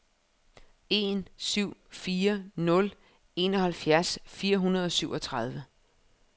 en syv fire nul enoghalvfjerds fire hundrede og syvogtredive